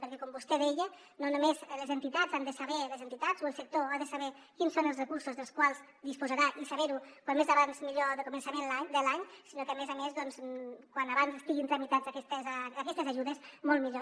perquè com vostè deia no només les entitats han de saber les entitats o el sector quins són els recursos dels quals disposaran i saber ho com més aviat millor a començament de l’any sinó que a més a més com més aviat estiguin tramitades aquestes ajudes molt millor